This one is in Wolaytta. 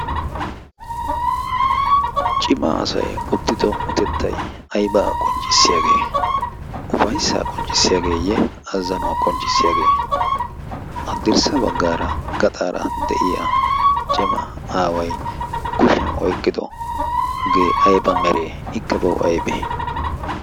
cima asay uttido utettay ayba qonccissiyaagee ufayssa qonccissiyaageeyye azzanuwaa qonccissiyaagee addirssa baggaara gaxaara de'iya cima aaway kushiyan oyqqidogee ayba meree ikka bawu aybe